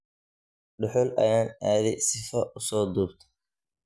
Duxul ayan aadhe sifo uso dhubto.